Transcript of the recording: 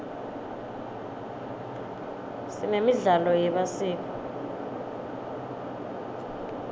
sinemidlalo yemasiko